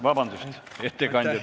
Vabandust, ettekandja!